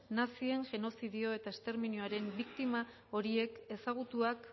nazien genozidio eta esterminioaren biktima horiek ezagutuak